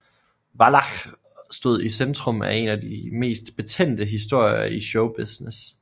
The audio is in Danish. Wallach stod i centrum af en af de mest betændte historier i show business